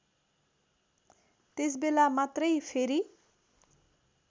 त्यसबेला मात्रै फेरी